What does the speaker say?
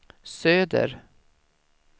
söder